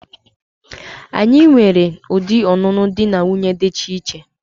Anyi nwere udi ọnụnụ di na nwuńye dicha iche.